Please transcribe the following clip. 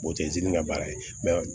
O tɛ ji ka baara ye